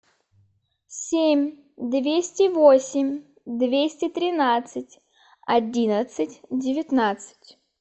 семь двести восемь двести тринадцать одиннадцать девятнадцать